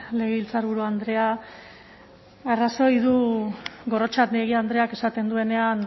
legebiltzarburu andrea arrazoi du gorrotxategi andreak esaten duenean